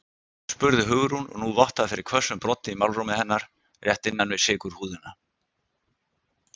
spurði Hugrún og nú vottaði fyrir hvössum broddi í málrómi hennar, rétt innan við sykurhúðina.